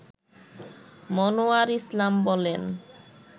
মনোয়ার ইসলাম বলেন